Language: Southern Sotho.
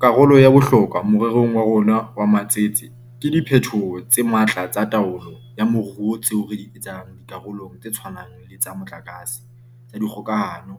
Karolo ya bohlokwa more rong wa rona wa matsete ke diphetoho tse matla tsa taolo ya moruo tseo re di etsang di karolong tse tshwanang le tsa motlakase, tsa dikgokahano,